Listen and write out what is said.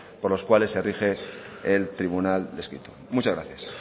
por los cuales se rige el tribunal descrito muchas gracias